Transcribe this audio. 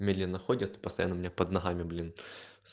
медленно ходят постоянно у меня под ногами блин